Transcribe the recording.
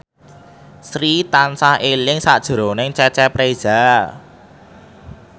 Sri tansah eling sakjroning Cecep Reza